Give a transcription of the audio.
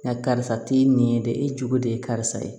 Nka karisa t'i nin ye de e jogo de ye karisa ye